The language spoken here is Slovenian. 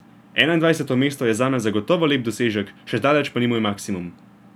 Enaindvajseto mesto je zame zagotovo lep dosežek, še zdaleč pa ni moj maksimum.